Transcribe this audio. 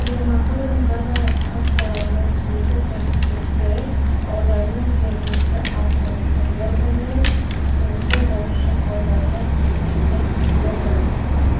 төлемақының базалық ставкаларына түзету коэффициенттері ауданның жергілікті атқарушы органының ұсынысы бойынша аудандық өкілді органның